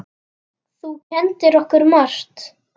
Þú kenndir okkur margt.